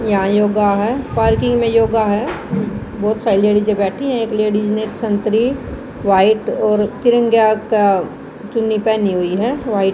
यहां योगा है पार्किंग में योगा है बहोत सारी लेडिस बैठी हैं एक लेडिस ने संत्री व्हाइट और तिरंगा का चुन्नी पहनी हुई है व्हाइट --